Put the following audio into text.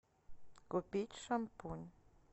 купить шампунь